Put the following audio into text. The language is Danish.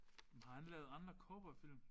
Men har han lavet andre cowboyfilm?